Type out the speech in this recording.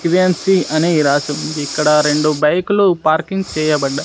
కివియాన్సీ అని రాసి ఉంది ఇక్కడ రెండు బైకులు పార్కింగ్ చేయబడ్డ--